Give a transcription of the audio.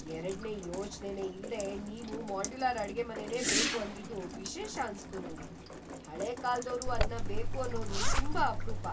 ‌ಎರಡ್ನೇ ಯೋಚ್ನೆನೇ ಇಲ್ದೇ ನೀವು ಮಾಡ್ಯುಲರ್ ಅಡ್ಗೆಮನೆನೇ ಬೇಕು ಅಂದಿದ್ದು ವಿಶೇಷ ಅನ್ಸ್ತು ನಂಗೆ. ಹಳೇ ಕಾಲ್ದೋರು ಅದ್ನ ಬೇಕು ಅನ್ನೋದು ತುಂಬಾ ಅಪ್ರೂಪ.